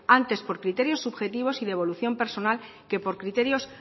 antes por criterios subjetivos y de evolución personas que por criterios